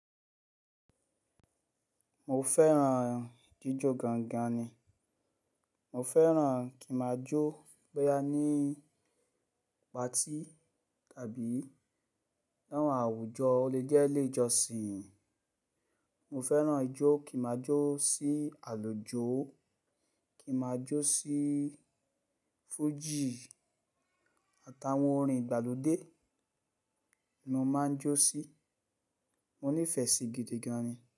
Mo fẹ́ràn jíjó gangan ni. Mo fẹ́ràn kí n ma jó bóyá ní patí tàbí láwọn àwùjọ óle jẹ́ iléjọsìn. Mo fẹ́ràn ijó, kí ma jó sí àlùjó, kí n ma jó sí fújì àtàwọn orin ìgbàlódé ni mo máa ń jó sí. Mo nífẹ̀ẹ́ sí gidi gan ni.